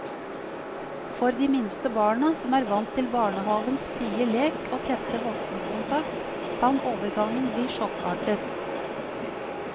For de minste barna som er vant til barnehavens frie lek og tette voksenkontakt, kan overgangen bli sjokkartet.